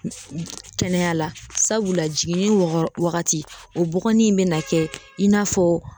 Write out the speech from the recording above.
Kɛnɛya la sabula jiginni wɔgɔ wagati o bɔgɔnin in bɛna kɛ i n'a fɔ